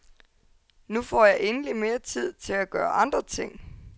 Nu får jeg endeligt mere tid til at gøre andre ting.